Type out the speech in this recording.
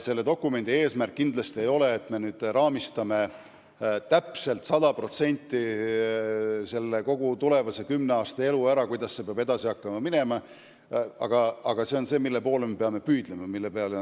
Selle eesmärk kindlasti ei ole kogu tulevane kümne aasta elu sada protsenti ära raamistada, kuidas see peab edasi hakkama minema, aga see seab eesmärgid, mille poole me peame püüdlema.